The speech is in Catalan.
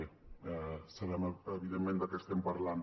bé sabem evidentment de què estem parlant